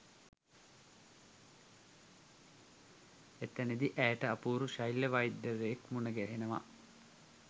එතනදි ඇයට අපූරු ශල්‍යවෛද්‍යවරයෙක් මුණ ගැහෙනවා